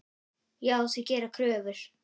Já, þau gera kröfur.